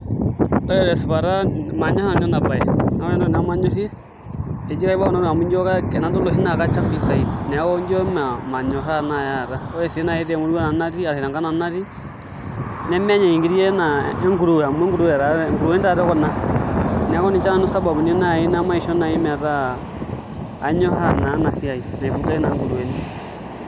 Ore tesipata manyorr nanu enabaye naa ore entoki namanyorrie akajo enaa kechafui saidi neeku ijio enaa manyorr naai taata ore sii temurua ashu tenkang' nanu natii nemenyai nkiri ena enkuruwe amu enkuruwe taatoi ena, neeku ninche naai sababuni naisho naai metaa anyiorraa naa ena siai naa oonkuruweni.